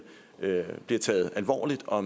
bliver taget alvorligt og